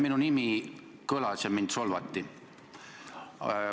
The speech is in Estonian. Minu nimi kõlas ja mind solvati.